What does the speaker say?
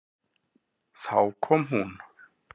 Þá kom hún.